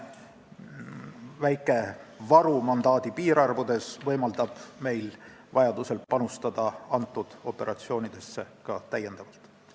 Väike varu mandaadi piirarvudes võimaldab meil vajadusel nendesse operatsioonidesse ka täiendavalt panustada.